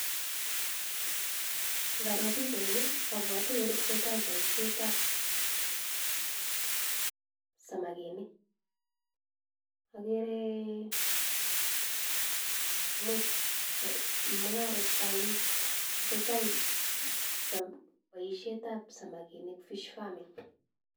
Ngaroo bichaini abwati ole tesetai bosietab samikinik. Ogere mung'aret, tesetai boisietab samakinik